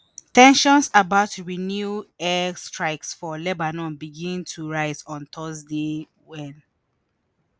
ten sions about renewed air strikes for lebanon begin to rise on thursday wen